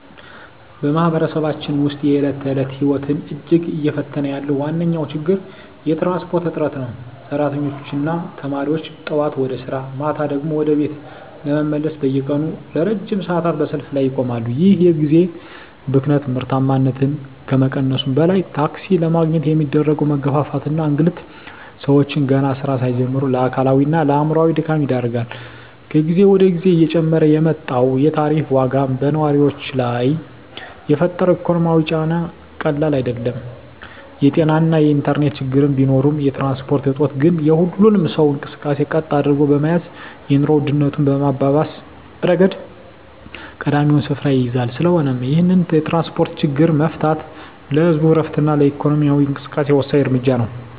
በማኅበረሰባችን ውስጥ የዕለት ተዕለት ሕይወትን እጅግ እየፈተነ ያለው ዋነኛው ችግር የትራንስፖርት እጥረት ነው። ሠራተኞችና ተማሪዎች ጠዋት ወደ ሥራ፣ ማታ ደግሞ ወደ ቤት ለመመለስ በየቀኑ ለረጅም ሰዓታት በሰልፍ ላይ ይቆማሉ። ይህ የጊዜ ብክነት ምርታማነትን ከመቀነሱም በላይ፣ ታክሲ ለማግኘት የሚደረገው መጋፋትና እንግልት ሰዎችን ገና ሥራ ሳይጀምሩ ለአካላዊና አእምሮአዊ ድካም ይዳርጋል። ከጊዜ ወደ ጊዜ እየጨመረ የመጣው የታሪፍ ዋጋም በነዋሪው ላይ የፈጠረው ኢኮኖሚያዊ ጫና ቀላል አይደለም። የጤናና የኢንተርኔት ችግሮች ቢኖሩም፣ የትራንስፖርት እጦት ግን የሁሉንም ሰው እንቅስቃሴ ቀጥ አድርጎ በመያዝ የኑሮ ውድነቱን በማባባስ ረገድ ቀዳሚውን ስፍራ ይይዛል። ስለሆነም ይህንን የትራንስፖርት ችግር መፍታት ለህዝቡ ዕረፍትና ለኢኮኖሚው እንቅስቃሴ ወሳኝ እርምጃ ነው።